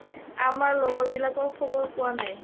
আমাৰ লগৰবিলাকৰ খবৰ পোৱা নাই